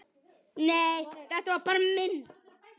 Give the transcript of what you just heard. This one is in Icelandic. Nei, þetta var minn